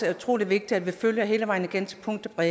er utrolig vigtigt at vi følger den hele vejen igennem til punkt og